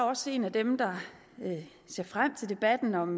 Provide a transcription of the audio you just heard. også en af dem der ser frem til debatten om